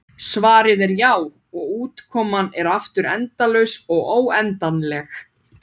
Svarið er já, og útkoman er aftur endalaust eða óendanlegt.